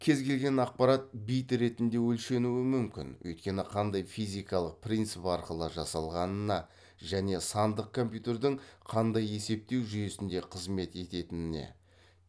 кез келген ақпарат бит ретінде өлшенуі мүмін өйткені қандай физикалық принцип арқылы жасалғанына және сандық компьютердің қандай есептеу жүйесінде қызмет ететініне